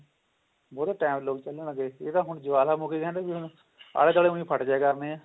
ਬਹੁਤਾ time ਲੋਕ ਚਲਣਗੇ ਇਹ ਤਾਂ ਹੁਣ ਜਵਾਲਾਮੁਖੀ ਕਹਿੰਦੇ ਨੇ ਜਿਨੂੰ ਹੁਣ ਆਲੇ ਦੁਆਲੇ ਹੁਣੀ ਫੱਟ ਜੀਆ ਕਰਨੇ ਨੇ